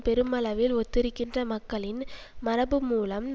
பெருமளவில் ஒத்திருக்கின்ற மக்களின் மரபுமூலம்